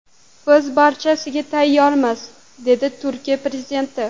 Biz barchasiga tayyormiz”, dedi Turkiya prezidenti.